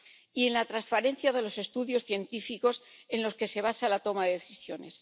y en la transparencia de los estudios científicos en los que se basa la toma de decisiones.